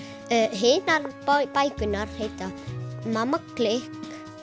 hinar bækurnar heita mamma klikk